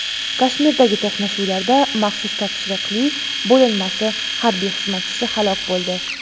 Kashmirdagi to‘qnashuvlarda maxsus topshiriqli bo‘linmasi harbiy xizmatchisi halok bo‘ldi.